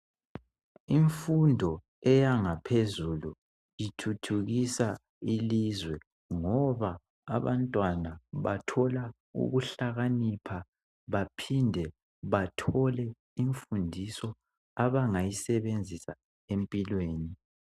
Imfundo eyangaphezulu ithuthukisa ilizwe ngoba abantwana bathola ukuhlakanipha baphinde bathole imfundiso abangayisebenzisa empilweni.